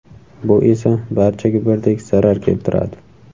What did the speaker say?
Bu esa barchaga birdek zarar keltiradi.